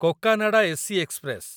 Cocanada AC express